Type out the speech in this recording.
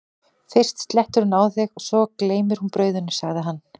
fyrst slettir hún á þig og svo gleymir hún brauðinu, sagði hann.